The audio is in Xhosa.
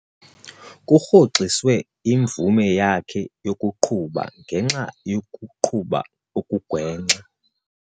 Kurhoxiswe imvume yakhe yokuqhuba ngenxa yokuqhuba okugwenxa.